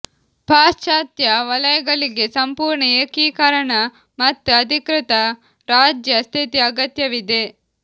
ಪಾಶ್ಚಾತ್ಯ ವಲಯಗಳಿಗೆ ಸಂಪೂರ್ಣ ಏಕೀಕರಣ ಮತ್ತು ಅಧಿಕೃತ ರಾಜ್ಯ ಸ್ಥಿತಿ ಅಗತ್ಯವಿದೆ